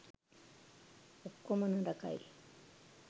ඔක්කොම නරකයි